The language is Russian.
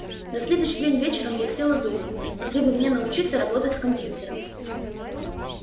на следующий день вечером я села думать где бы мне научиться работать с компьютером